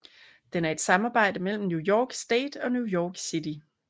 Den er et samarbejde mellem New York State and New York City